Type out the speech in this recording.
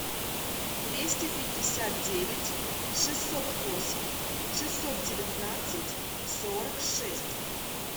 двести пятьдесят девять шестьсот восемь шестьсот девятнадцать сорок шесть